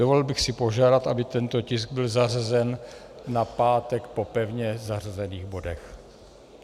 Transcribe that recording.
Dovolil bych si požádat, aby tento tisk byl zařazen na pátek po pevně zařazených bodech.